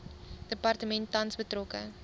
departement tans betrokke